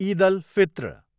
Eid al Fitr